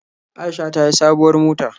Aisha ta sayi sabuwar mota.